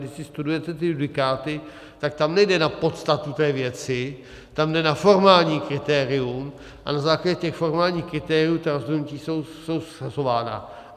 Když si studujete ty judikáty, tak tam nejde na podstatu té věci, tam jde na formální kritérium, a na základě těch formálních kritérií ta rozhodnutí jsou shazována.